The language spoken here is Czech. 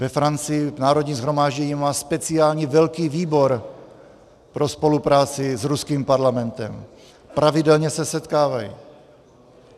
Ve Francii Národní shromáždění má speciální velký výbor pro spolupráci s ruským parlamentem, pravidelně se setkávají.